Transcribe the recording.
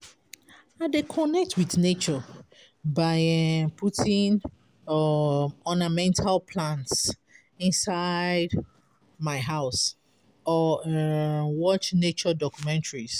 I dey connect with nature by um putting um ornamental plants inside my house or um watch nature documentaries.